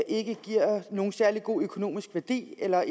ikke giver nogen særlig god økonomisk værdi eller